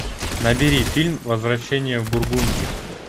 набери фильм возвращение в бургундию